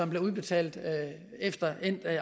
bliver udbetalt efter